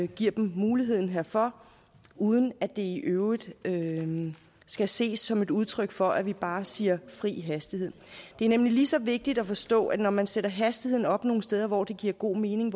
giver dem muligheden herfor uden at det i øvrigt skal ses som et udtryk for at vi bare siger fri hastighed det er nemlig lige så vigtigt at forstå at vi når man sætter hastigheden op nogle steder hvor det giver god mening